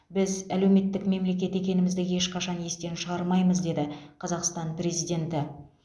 біз әлеуметтік мемлекет екенімізді ешқашан естен шығармаймыз деді қазақстан президенті